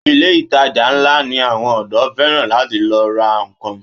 Ilé ìtajà ńlá ni àwọn ọ̀dọ́ fẹ́ràn láti lọ ra nnkan.